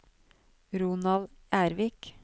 Ronald Ervik